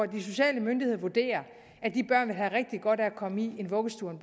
de sociale myndigheder vurderer vil have rigtig godt af at komme i vuggestue og